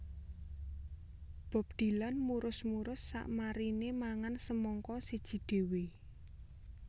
Bob Dylan murus murus sakmarine mangan semangka siji dhewe